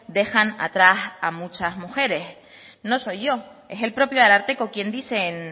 dejan a tras a muchas mujeres no soy yo es el propio ararteko quien dice en